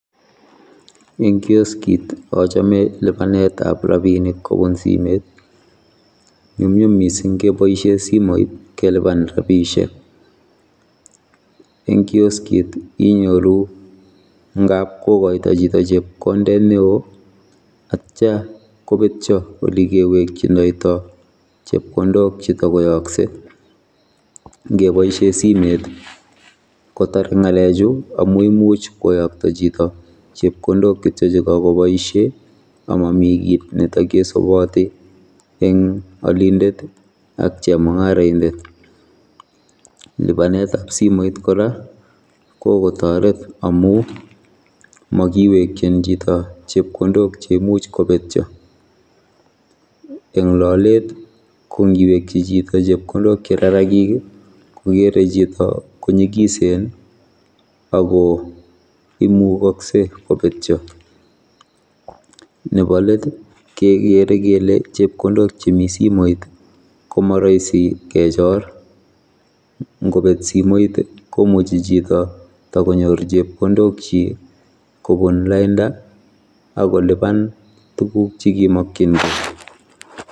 Eng kioskit achome libanetab rabinik kobun simet nyumnyum mising keboisie simoit keliban rapisiek. Eng kioskit inyoru ngapkogoito chito chepkondet neo atya kobetio ole kewekchindoito chepkondok chetokoyokse ngeboisie simet kotare ngalek chu amu imuch koyokto chito chepkondok kityo chekakoboisie amamii kiit ne takesubati eng olindet ak chemungaroindet. Libanetab simoit kora kokotoret amu makiwekyin chito chepkondok cheimuch kobetyo eng lolet kongiwekyi chito chepkondok che rarakik kokere chito konyigisen ako imugaksei kobetyo. Nebolet kekere kele chepkondok chemi simoit komarahisi kechor, ngobet simoit komuchi chito tokonyor chepkondokchik kobun lainda akoliban tuguk chekimokyingei.